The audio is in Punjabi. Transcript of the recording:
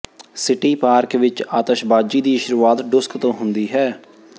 ਸਿਟੀ ਪਾਰਕ ਵਿਚ ਆਤਸ਼ਬਾਜ਼ੀ ਦੀ ਸ਼ੁਰੂਆਤ ਡੁਸਕ ਤੋਂ ਹੁੰਦੀ ਹੈ